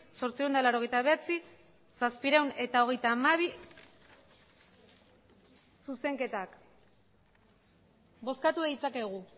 zortziehun eta laurogeita bederatzi zazpiehun eta hogeita hamabi zuzenketak bozkatu ditzakegu